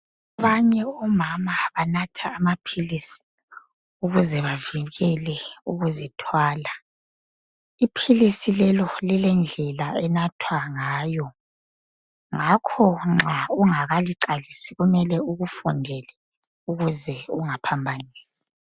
Abanye omama banatha amaphilisi ukuze bavikele ukuzithwala. Iphilisi lelo lilendlela enathwa ngayo. Ngakho nxa ungakaliqalisi kumele ukufundele ukuze ungaphambanisi.